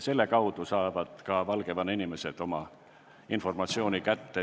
Selle kaudu saavad ka Valgevene inimesed oma informatsiooni kätte.